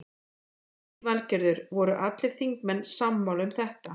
Lillý Valgerður: Voru allir þingmenn sammála um þetta?